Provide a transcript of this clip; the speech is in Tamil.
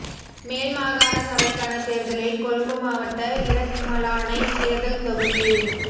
மேல் மாகாண சபைக்கான தேர்தலில் கொழும்பு மாவட்ட இரத்மலானை தேர்தல் தொகுதியில்